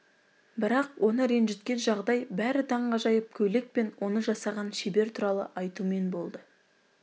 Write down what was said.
бірақ оны ренжіткен жағдай бәрі таңғажайып көйлек пен оны жасаған шебер туралы айтумен болды